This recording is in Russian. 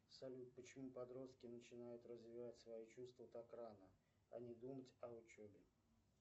салют почему подростки начинают развивать свои чувства так рано а не думать о учебе